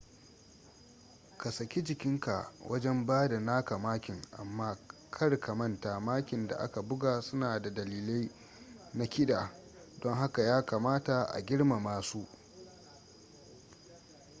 ka saki jikinka wajen bada naka makin amma kar ka manta makin da aka buga su na da dalilai na kida don haka ya kamata a girmama su